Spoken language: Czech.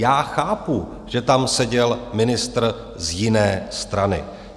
Já chápu, že tam seděl ministr z jiné strany.